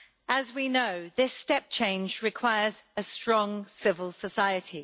As we know, this step change requires a strong civil society.